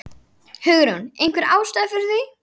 Hugrún: Einhver ástæða fyrir því?